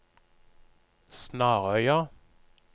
Snarøya